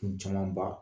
Kun camanba